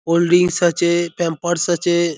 Cold drinks আছে Pampers আছে।